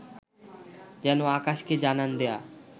যেন আকাশকে জানান দেয়া